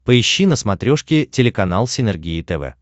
поищи на смотрешке телеканал синергия тв